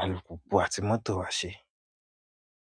alùpùpù àti mọ́tò wa ṣe.